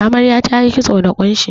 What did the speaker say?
Amarya tayi kitso da ƙunshi.